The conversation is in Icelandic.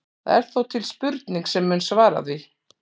Það er þó til spurning sem mun svara því.